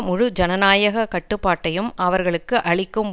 முழு ஜனநாயக கட்டுப்பாட்டையும் அவர்களுக்கு அளிக்கும்